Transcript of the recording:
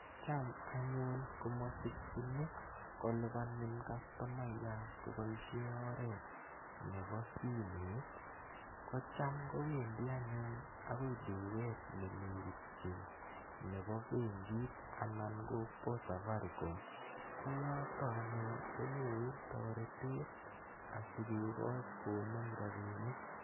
Cham anyun ko masikchin kolipanin kastomayat kopoishe oret nepo simet. Ko cham kowendi anyun duket ne nekitchin nepo penkit anan ko Safaricom. Ko yotok anyun ko nyoru taretet asikekach konem rapinik.